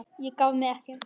Ég gaf mig ekki!